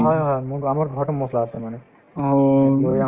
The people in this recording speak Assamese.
হয় হয় মোৰ আমাৰ ঘৰতে মছলা আছে মানে ‌‌‌‌